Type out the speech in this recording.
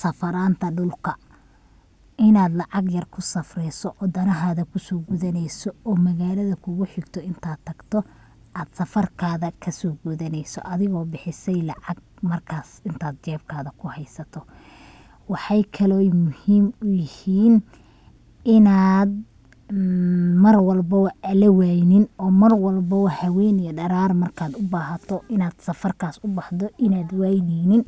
safaranta dhulka, inad lacag yar kusafreyso oo danahaga kuso gudaneyso, magalada kugu xigto intad tagto ad safartada kaso gudaneyso adigo bixisey lacag markas intad jebkaga kahaysato. Waxay kale oy muhim u yihin inad Mar walbobo an lawaynin oo Mar walbobo haween iyo dharar markad ubahato inad safarkas ubaxdo inad wayneynin